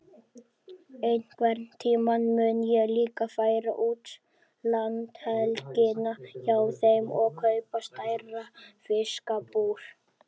Einhvern tíma mun ég líka færa út landhelgina hjá þeim og kaupa stærra fiskabúr.